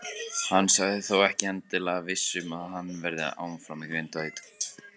Hann sagðist þó ekki endilega viss um að hann verði þá áfram í Grindavík.